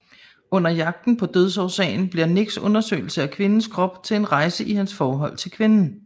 Under jagten på dødsårsagen bliver Nicks undersøgelse af kvindens krop til en rejse i hans forhold til kvinden